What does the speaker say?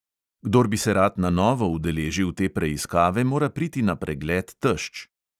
Kdor bi se rad na novo udeležil te preiskave, mora priti na pregled tešč.